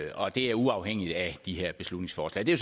og det er uafhængigt af de her beslutningsforslag det er